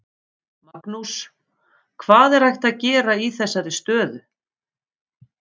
Magnús: Hvað er hægt að gera í þessari stöðu?